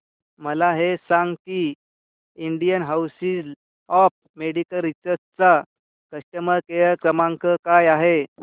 मला हे सांग की Indian Council of Medical Research चा कस्टमर केअर क्रमांक काय आहे